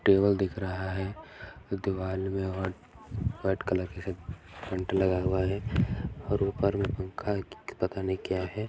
Table दिख रहा है दिवार में रेड कलर का ऐसे पेंट लगा हुआ है और ऊपर में पंखा की पता नहीं क्या है।